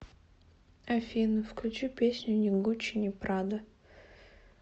афина включи песню ни гуччи ни прада